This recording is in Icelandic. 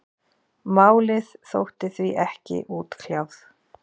Málið þótti því ekki útkljáð.